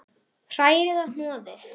Hrærið og hnoðið.